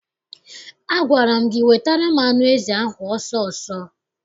Agwara m gị wetara m anụ ezi ahụ ọsọ ọsọ!